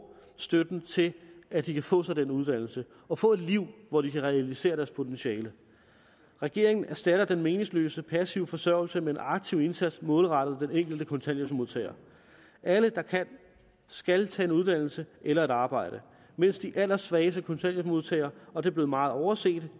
støtten til at de kan få sig den uddannelse og få et liv hvor de kan realisere deres potentiale regeringen erstatter den meningsløse passive forsørgelse med en aktiv indsats målrettet den enkelte kontanthjælpsmodtager alle der kan skal tage en uddannelse eller et arbejde mens de allersvageste kontanthjælpsmodtagere og det er blevet meget overset